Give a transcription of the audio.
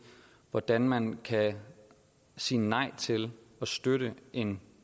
hvordan man kan sige nej til at støtte en